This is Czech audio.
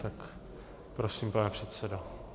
Tak prosím, pane předsedo.